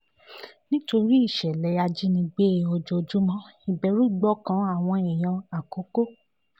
nítorí ìṣẹ̀lẹ̀ ìjínigbé ojoojúmọ́ ìbẹ̀rù gbọ́kàn àwọn èèyàn àkọ́kọ́